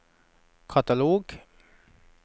katalog